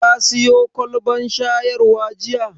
Ka siyo kwalbar shayarwa jiya?